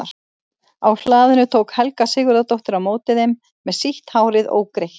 Á hlaðinu tók Helga Sigurðardóttir á móti þeim með sítt hárið ógreitt.